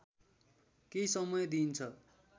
केही समय दिइन्छ